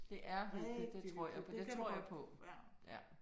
Det er hyggeligt. Det tror jeg på det tror jeg på ja